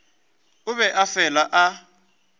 o be a fela a